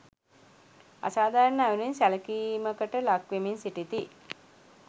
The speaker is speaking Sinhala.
අසාධාරණ අයුරින් සැලකීමකට ලක්වෙමින් සිටිති.